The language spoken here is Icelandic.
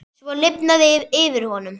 Svo lifnaði yfir honum.